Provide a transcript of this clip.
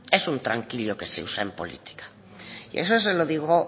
es un tranquillo que se usa en política y eso se lo digo